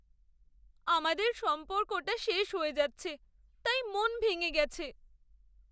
আমাদের সম্পর্কটা শেষ হয়ে যাচ্ছে তাই মন ভেঙে গেছে।